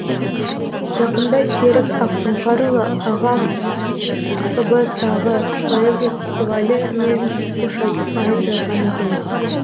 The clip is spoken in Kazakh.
жақында серік ақсұңқарұлы ағам фб тағы поэзия фестивалі мен қош айтысқанын жазған екен